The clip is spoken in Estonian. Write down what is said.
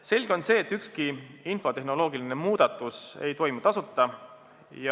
Selge on see, et ükski infotehnoloogiline muudatus ei toimu tasuta.